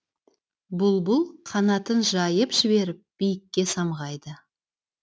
бұлбұл қанатын жайып жіберіп биікке самғайды